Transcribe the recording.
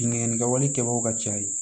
Bingani kɛwalen kɛbagaw ka ca ye